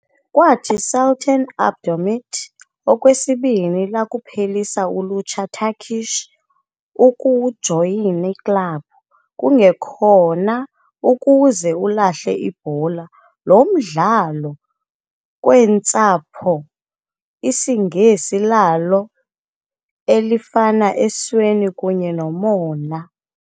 Kwathi, Sultan Abdulhamit Okwesibini, lakuphelisa ulutsha Turkish ukujoyina club, kungekhona ukuze ulahle ibhola, lo mdlalo kweentsapho IsiNgesi lalo elifana esweni kunye nomona.